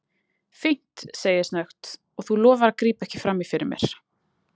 Fínt, segi ég snöggt, og þú lofar að grípa ekki frammí fyrir mér.